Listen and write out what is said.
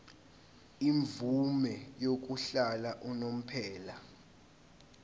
imvume yokuhlala unomphela